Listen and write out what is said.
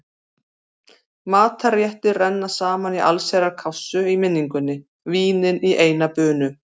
Matarréttir renna saman í allsherjar kássu í minningunni, vínin í eina bunu.